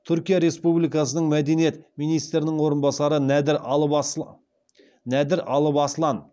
түркия республикасының мәдениет министрінің орынбасары нәдір алып аслан